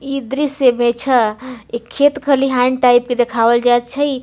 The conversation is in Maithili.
इ दृश्य देखअ इ खेत-खलिहान टाइप के देखावल जाय छई।